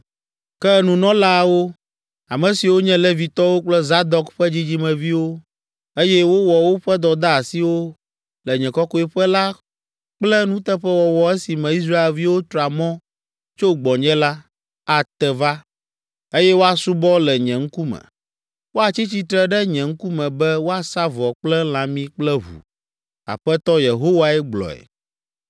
“ ‘Ke nunɔlaawo, ame siwo nye Levitɔwo kple Zadok ƒe dzidzimeviwo, eye wowɔ woƒe dɔdeasiwo le nye kɔkɔeƒe la kple nuteƒewɔwɔ esime Israelviwo tra mɔ tso gbɔnye la, ate va, eye woasubɔ le nye ŋkume. Woatsi tsitre ɖe nye ŋkume be woasa vɔ kple lãmi kple ʋu. Aƒetɔ Yehowae gblɔe.